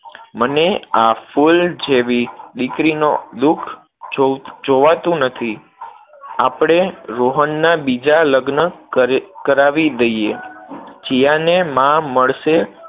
મને આ ફૂલ જેવી દીકરીનું દુઃખ જોવાતું નથી, આપણે રોહનના બીજા લગ્ન કરાવી દઈએ, જીયાને માં મળશે